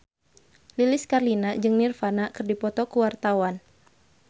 Lilis Karlina jeung Nirvana keur dipoto ku wartawan